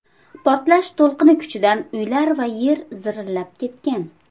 Portlash to‘lqini kuchidan uylar va yer zirillab ketgan.